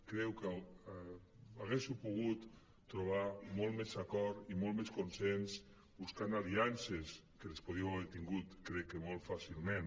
crec que haguéssiu pogut trobar molt més acord i molt més consens buscant aliances que les podríeu haver tingut crec que molt fàcilment